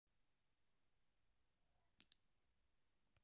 Þeir gengu þegjandi.